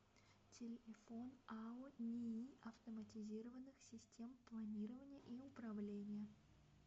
телефон ао нии автоматизированных систем планирования и управления